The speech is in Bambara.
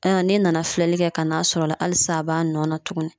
Ayiwa n'e nana filɛli kɛ ka n'a sɔrɔ o la alisa a b'a nɔ na tuguni